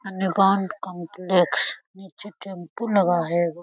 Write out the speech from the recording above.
Complex नीचे tempo लगा है एगो --.